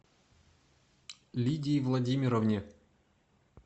лидии владимировне